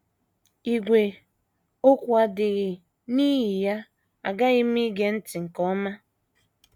Ígwè okwu adịghị,, n’ihi ya aghaghị m ige ntị nke ọma.